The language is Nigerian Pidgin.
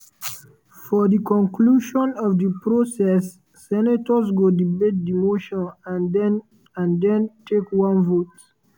for di conclusion of di process senators go debate di motion and den and den take one vote.